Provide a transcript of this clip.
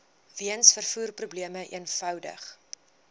weens vervoerprobleme eenvoudig